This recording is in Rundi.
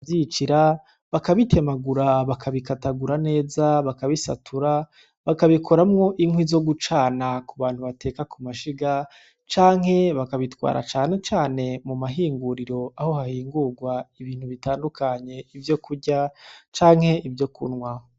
Vyiyicira Bakabitemagura, Bakabikatagura Neza, Bakabisatura, Bakabikoramwo Inkwi Zogucana Kubantu Bateka Kumashiga, Canke Bakabitwara Cane Cane Mumahinguriro Aho Hahingurwa Ibintu Bitandukanye Vyo Kurya, Canke Vyo Kunwa.